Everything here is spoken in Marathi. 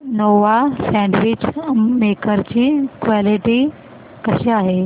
नोवा सँडविच मेकर ची क्वालिटी कशी आहे